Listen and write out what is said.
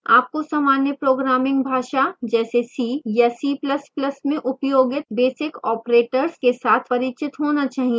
आपको सामान्य programming भाषा जैसे c या c ++ में उपयोगित basic operators के साथ परिचित होना चाहिए